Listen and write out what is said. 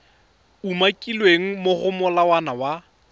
umakilweng mo go molawana wa